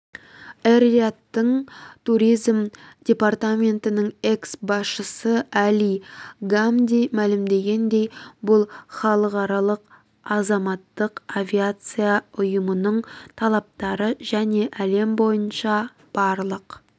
эр-риядтың туризм департаментінің экс-басшысы әли гамди мәлімдегендей бұл халықаралық азаматтық авиация ұйымының талаптары және әлем бойынша барлық